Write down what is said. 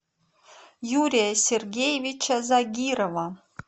юрия сергеевича загирова